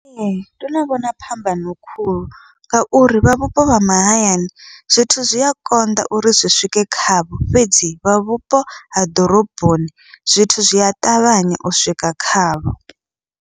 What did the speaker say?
Ee, ndo no vhona phambano khulu, ngauri vha vhupo vha mahayani zwithu zwi a konḓa uri zwi swike khavho, fhedzi vha vhupo ha ḓoroboni zwithu zwi a ṱavhanya u swika khavho.